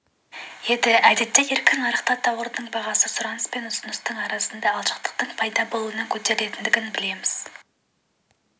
еді әдетте еркін нарықта тауарлардың бағасы сұраныс пен ұсыныстың арасында алшақтықтың пайда болуынан көтерілетіндігін білеміз